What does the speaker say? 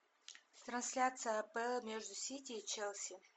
трансляция апл между сити и челси